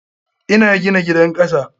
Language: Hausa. Ina gina gidan kasa.